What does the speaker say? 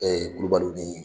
Ee Kulubali ni